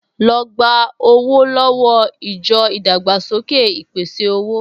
Lọ gba owó lọ́wọ́ ìjọ ìdàgbàsókè ìpèsè-owó!